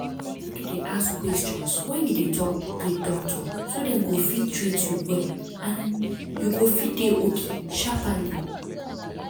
mek you de ask questions wen you de talk with doctor so dem go fit treat you well and you go fit dey okay sharpally.